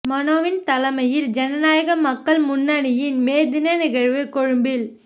மனோவின் தலைமையில் ஜனநாயக மக்கள் முன்னணியின் மே தின நிகழ்வு கொழும்பில்